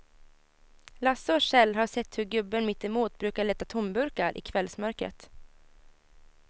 Lasse och Kjell har sett hur gubben mittemot brukar leta tomburkar i kvällsmörkret.